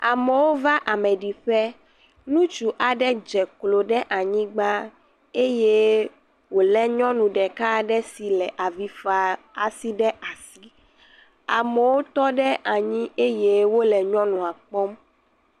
Amewo va ameɖiƒe. Nutsu aɖe dze klo ɖe anyigba eye wòlé nyɔnu ɖeka aɖe si le avi faa asi ɖe asi. Amewo tɔ ɖe anyi eye wole nyɔnua kpɔm.